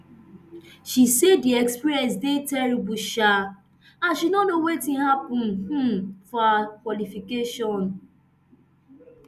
she say di experience dey terrible um and she no know wetin happun um for her qualification